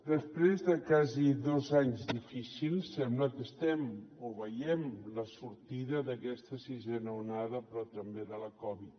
després de quasi dos anys difícils sembla que estem o veiem la sortida d’aquesta sisena onada però també de la covid